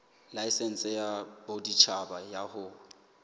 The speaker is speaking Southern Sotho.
laesense ya boditjhaba ya ho